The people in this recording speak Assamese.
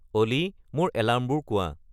অ'লি মোৰ এলাৰ্মবোৰ কোৱা